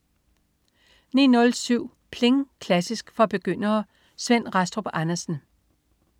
09.07 Pling! Klassisk for begyndere. Svend Rastrup Andersen